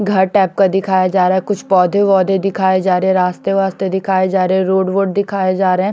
घर टाइप का दिखाया जा रहा है कुछ पौधे वोधे दिखाए जा रहे है रास्ते रास्ते दिखाए जा रहे है रोड वोड दिखाए जा रहे है।